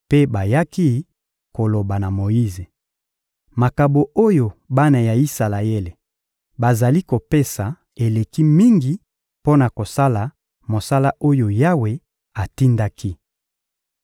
mpe bayaki koloba na Moyize: — Makabo oyo bana ya Isalaele bazali kopesa eleki mingi mpo na kosala mosala oyo Yawe atindaki.